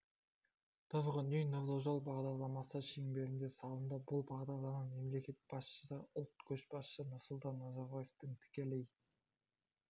тұрғын үй нұрлы жол бағдарламасы шеңберінде салынды бұл бағдарлама мемлекет басшысы ұлт көшбасшысы нұрсұлтан назарбаевтың тікелей